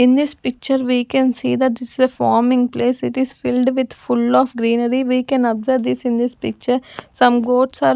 in this picture we can see that this is a farming place it is filled with full of greenery we can observe this in this picture some goats are --